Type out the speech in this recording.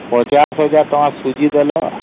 ୫୦୦୦୦ ଟଙ୍କା ସୁଝି ଦେଲ ଆଉ